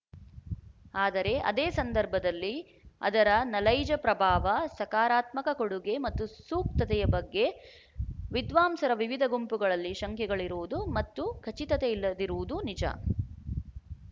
ಅದರೆ ಅದೇಸಂದರ್ಭದಲ್ಲಿ ಅದರ ನಲೈ ಜ ಪ್ರಭಾವ ಸಕಾರಾತ್ಮಕ ಕೊಡುಗೆ ಮತ್ತು ಸೂಕ್ತತೆಯ ಬಗ್ಗೆ ವಿದ್ವಾಂಸರ ವಿವಿಧ ಗುಂಪುಗಳಲ್ಲಿ ಶಂಕೆಗಳಿರುವುದು ಮತ್ತು ಖಚಿತತೆ ಇಲ್ಲದಿರುವುದೂ ನಿಜ